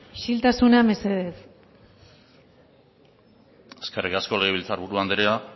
isiltasuna mesedez eskerrik asko legebiltzarburu andrea